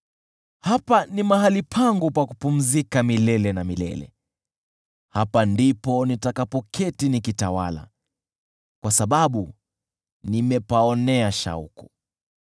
“Hapa ni mahali pangu pa kupumzika milele na milele; hapa ndipo nitakapoketi nikitawala, kwa sababu nimepaonea shauku: